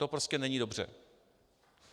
To prostě není dobře.